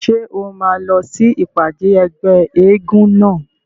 Ṣé o máa lọ sí ìpàdé ẹgbẹ́ eégún náà?